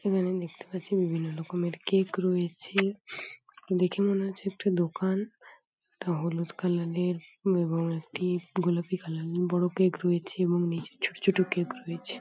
এখানে দেখতে পাচ্ছি বিভিন্ন রকমের কেক রয়েছে দেখে মনে হচ্ছে একটি দোকান একটা হলুদ কালার -এর এবং একটি গোলাপি কালার -এর বড় কেক রয়েছে এবং নিচে ছোট ছোট কেক রয়েছে।